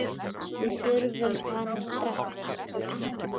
Við þurfum hana strax.